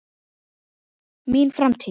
Mín framtíð?